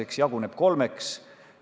See raha jaguneb kolmeks.